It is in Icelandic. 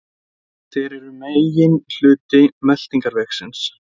Þeir eru meginhluti meltingarvegarins.